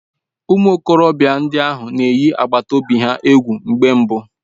Ụmụ okorobịa ndị ahụ na-eyi agbata obi ahụ egwu mgbe mbụ